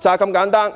就是這麼簡單。